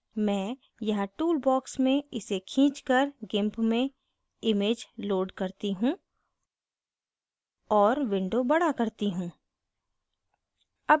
मैं यहाँ tool box में इसे खींच कर gimp में image load करती हूँ और window बड़ा करती हूँ